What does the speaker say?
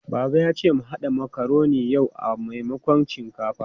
Baba ya ce mu haɗa makaroni yau a maimakon shinkafa.